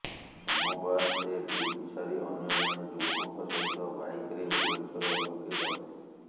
ସୋମବାର ସେ ଡ୍ୟୁଟି ସାରି ଅନ୍ୟ ଜଣେ ଯୁବକଙ୍କ ସହିତ ବାଇକ୍ରେ ଭୁବନେଶ୍ୱର ଅଭିମୁଖେ ଯାଉଥିଲେ